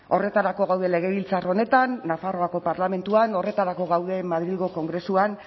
horretarako gaude legebiltzar honetan nafarroako parlamentuan horretarako gaude madrilgo kongresuan